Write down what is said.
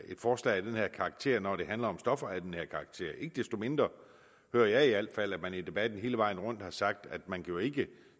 forslag af den her karakter når det handler om stoffer af den her karakter ikke desto mindre hører jeg i al fald at man i debatten hele vejen rundt har sagt at man jo ikke